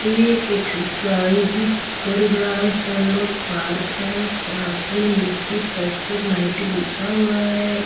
ये एक्सरसाइज कर रहा है सलोक पार्क है पार्क में नीचे फर्श पर मैट बिछा हुआ है।